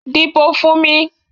Dìbò fún mi!